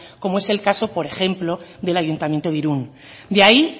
como es el caso por ejemplo del ayuntamiento de irun de ahí